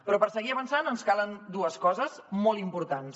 però per seguir avançant ens calen dues coses molt importants